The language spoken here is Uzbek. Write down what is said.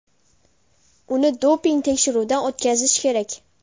Uni doping tekshiruvidan o‘tkazish kerak.